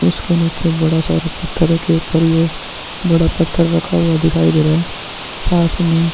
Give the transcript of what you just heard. उसके नीचे बड़ा सा पत्थर के ऊपर ही ये बड़ा पत्थर रखा हुआ दिखाई दे रहा है पास में --